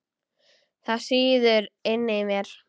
Það sýður inni í mér.